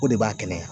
O de b'a kɛnɛya